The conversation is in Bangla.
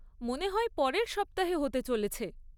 মনে হয় পরের সপ্তাহে হতে চলেছে।